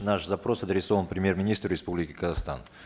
наш запрос адресован премьер министру республики казахстан